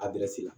A la